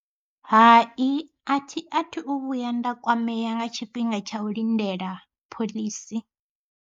Hai a thi athu u vhuya nda kwamea nga tshifhinga tsha u lindela phoḽisi.